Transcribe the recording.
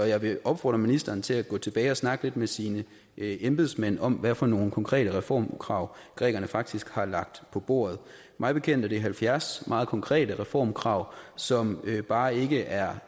jeg vil opfordre ministeren til at gå tilbage og snakke med sine embedsmænd om hvad for nogle konkrete reformkrav grækerne faktisk har lagt på bordet mig bekendt er det halvfjerds meget konkrete reformkrav som bare ikke er